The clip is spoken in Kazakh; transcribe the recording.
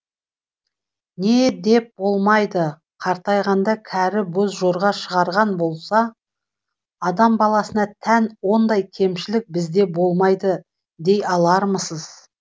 не деп болмайды қартайғанда кәрі боз жорға шығарған болса адам баласына тән ондай кемшілік бізде болмайды дей алармысыз